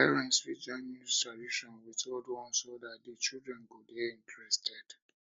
parents fit join new tradition with old one so dat di children go dey interested